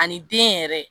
Ani den yɛrɛ